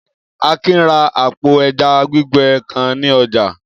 Akin ra àpò ẹja gbígbẹ kan ní ọjà.